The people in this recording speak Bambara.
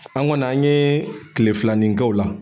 An kɔni an yee tile filanin kɛ o la.